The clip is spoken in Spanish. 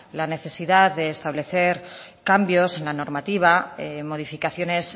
la necesidad de establecer cambios en la normativa modificaciones